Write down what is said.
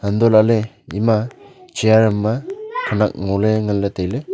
anto lah ley ima chear am ma khenak ngo ley ngan ley tai ley.